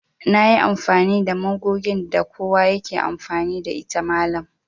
Nayi amfani da magogin da kowa yake amfani da ita mallam